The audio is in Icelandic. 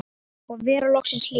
Og vera loksins hlýtt!!